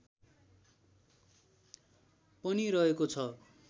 पनि रहेको छ